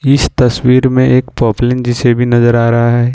इस तस्वीर में एक पॉपलिन जे_सी_बी नजर आ रहा है।